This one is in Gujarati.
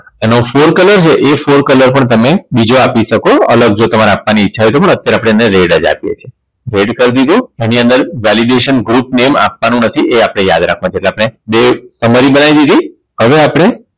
એનો Four color છે એ Four color પણ તમે બીજો આપી શકો અલગ જો તમારે આપવાની ઈચ્છા હોય તો પણ અત્યારે આપણે એને red જ આપીએ છીએ red કરી દીધું એની અંદર Validation group name આપવાનું નથી એ આપણે યાદ રાખવાનું છે એટલે આપણે બે Summary બનાય દીધી હવે આપણે